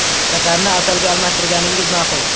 Shakarni asalga almashtirganingiz ma’qul.